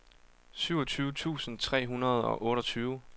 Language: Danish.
syvogtyve tusind tre hundrede og otteogtyve